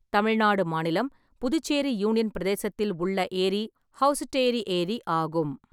தமிழ்நாடு மாநிலம், புதுச்சேரி யூனியன் பிரதேசத்தில் உள்ள ஏரி ஹௌசுட்டேரி ஏரி ஆகும்.